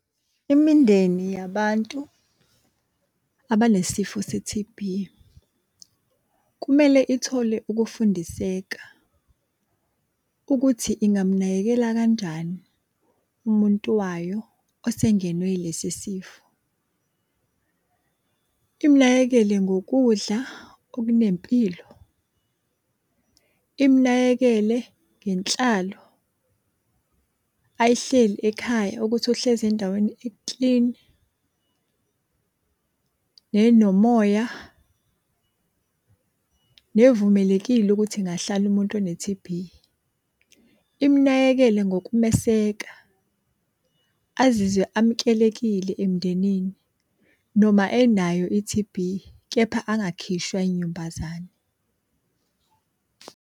Imindeni yabantu abanesifo se-T_B, kumele ithole ukufundiseka ukuthi ingamunakekela kanjani umuntu wayo osengenwe ilesi sifo. Imunakekele ngokudla okunempilo. Imunakekele ngenhlalo ayihleli ekhaya ukuthi uhlezi endaweni eklini, nenomoya, nevumelekile ukuthi ingahlala umuntu one-T_B. Imunakekele ngokumeseka azizwe amukelekile emndenini noma enayo i-T_B kepha angakhishwa inyumbazane.